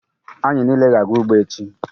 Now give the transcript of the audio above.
Anyị niile ga-aga ugbo echi.